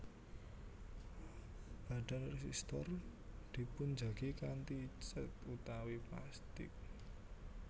Badan résistor dipunjagi kanthi cèt utawi plastik